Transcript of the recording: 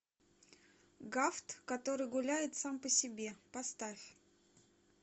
гафт который гуляет сам по себе поставь